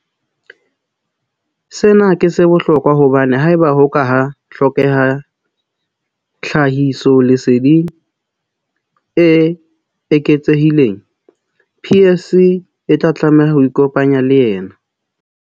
Sena ke sa bohlokwa hobane haeba ho ka ha hlokeha tlhahisoleseding e eketsehileng, PSC e tla tlameha ho ikopanya le yena.